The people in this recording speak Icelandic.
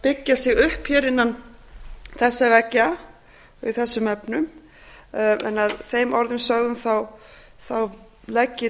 byggja sig upp hér innan þessara veggja í þessum efnum að þeim orðum sögðum legg ég